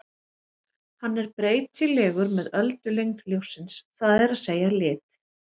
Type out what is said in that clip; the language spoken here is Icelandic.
Hann er breytilegur með öldulengd ljóssins, það er að segja lit.